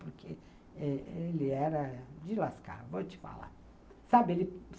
Porque ele era de lascar, vou te falar. Sabe ele